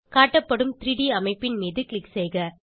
காட்டப்படும் 3ட் அமைப்பின் மீது க்ளிக் செய்க